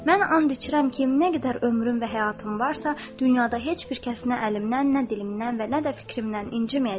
Mən and içirəm ki, nə qədər ömrüm və həyatım varsa, dünyada heç bir kəsinə əlimdən, nə dilimdən və nə də fikrimdən inciməyəcəkdir.